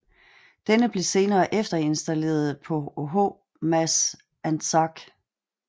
Denne blev senere efterinstalleret på HMAS Anzac